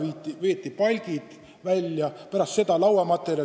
Enne seda veeti palgid välja, pärast seda veetakse lauamaterjali.